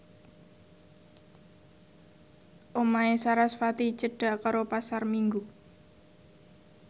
omahe sarasvati cedhak karo Pasar Minggu